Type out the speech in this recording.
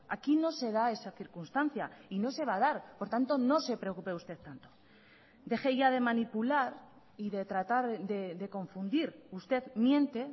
aquí no se da esa circunstancia y no se va a dar por tanto no se preocupe usted tanto deje ya de manipular y de tratar de confundir usted miente